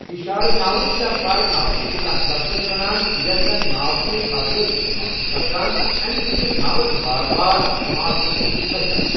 اِشارٕ ناوُت یا پَر ناوُت ، چھ تتھ لفظس ونان یس زن ناوتِہ بدلہٕ اِستِمال چھ سپدان اَمہِ سٟتؠ چھ ناوت بار بار اِستِمال کَرنہٕ نشہ بچان